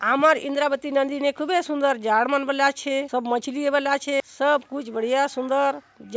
आमर इंद्रावती नदी खूबे सुंदर झाड़ मन बले आछे सब मछरी मन बले आछे सब कुछ बढ़िया सुंदर --